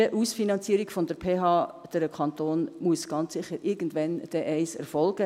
Diese Ausfinanzierung der PH durch den Kanton muss ganz sicher irgendwann einmal erfolgen.